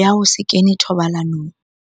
ya ho se kene thobalanong.